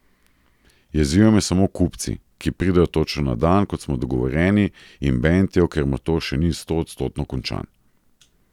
Jezijo me samo kupci, ki pridejo točno na dan, kot smo dogovorjeni, in bentijo, ker motor še ni stoodstotno končan.